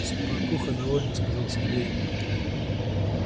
спокуха довольно сказал сергей